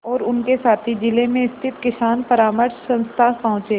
और उनके साथी जिले में स्थित किसान परामर्श संस्था पहुँचे